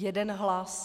Jeden hlas.